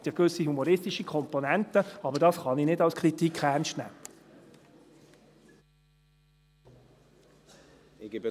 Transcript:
Es hat ja gewisse humoristische Komponenten, aber das kann ich als Kritik nicht ernst nehmen.